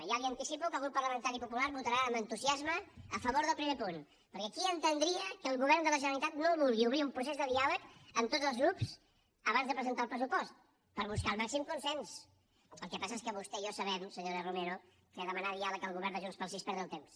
ja li anticipo que el grup parlamentari popular votarà amb entusiasme a favor del primer punt perquè qui entendria que el govern de la generalitat no vulgui obrir un procés de diàleg amb tots els grups abans de presentar el pressupost per buscar el màxim consens el que passa és que vostè i jo sabem senyora romero que demanar diàleg al govern de junts pel sí és perdre el temps